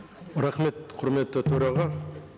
рахмет құрметті төраға